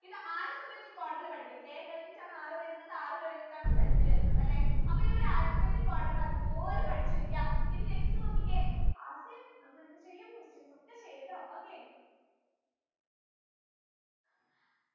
ഇത് alphabetic order ൽ പടിക്ക് K കഴിഞ്ഞിട്ടാണ് R വരുന്നത് R കഴിഞ്ഞിട്ടാണ് Z വരുന്നതല്ലേ അപ്പൊ ഇ ഒരു alphabetic order ൽ അത് പോലെ പഠിച്ചു വെക്ക ഇനി next നോക്കിക്കേ ആസിഫ് നമ്മൾ എന്ത് ചെയ്യും questions ഒക്കെ ചെയ്യുട്ടോ okay